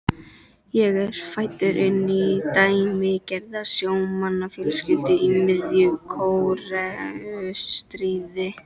Ég er fæddur inn í dæmigerða sjómannsfjölskyldu í miðju Kóreustríði.